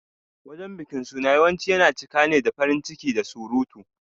Wajen bikin Sunna yawanci yana cika ne da farin ciki da surutu.